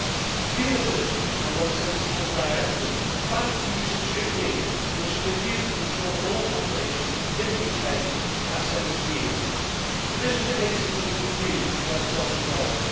This punitive and non sensical directive bans the use of strychnine, which has been used to control the mole population in the UK for the past 70 years. This was the case until the EU got itself involved.